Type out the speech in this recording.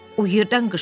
O yerdən qışqırdı.